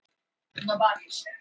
Það gerðist eitthvað.